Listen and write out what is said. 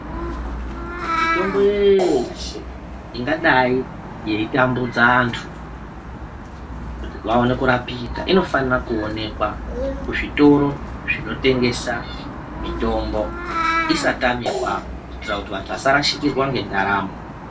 Mitombo yesheeee ingadai yei tambudza antu kuti vaone kurapika inofanira kuonekwa kuzvitoro zvinotengesa mitombo isatamika kuitira kuti vanhu vasharashikirwa ngendaramo.